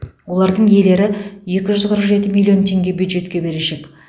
олардың иелері екі жүз қырық жеті миллион теңге бюджетке берешек